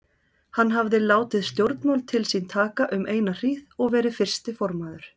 Hann hafði látið stjórnmál til sín taka um eina hríð og verið fyrsti formaður